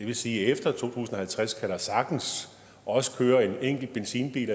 vil sige at efter to tusind og halvtreds kan der sagtens også køre en enkelt benzinbil